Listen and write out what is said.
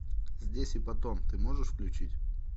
здесь и потом ты можешь включить